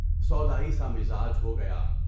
سودائی سا مزاج ہو گیا۔